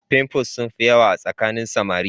pimples sun fi yawa a tsakanin samari